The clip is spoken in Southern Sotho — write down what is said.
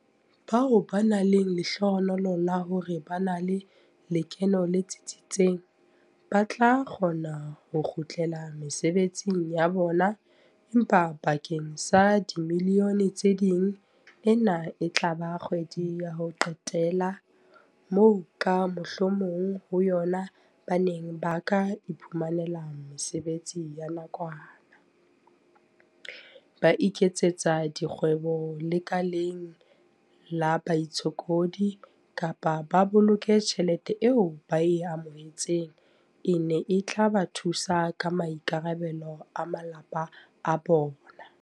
Bao ba nang le lehlohonolo la hore ba na le lekeno le tsitsitseng ba tla kgona ho kgutlela mesebetsing ya bona, empa bakeng sa dimilione tse ding ena e tla ba kgwedi ya ho qetela moo ka mohlomong ho yona ba neng ba ka iphumanela mesebetsi ya nakwana, ba iketsetsa dikgwebo lekaleng la baitshokodi kapa ba boloke tjhelete eo ba e amohe-tseng e neng e tla ba thusa ka maikarabelo a malapa a bona.